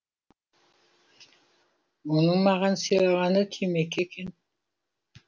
оның маған сыйлағаны темекі екен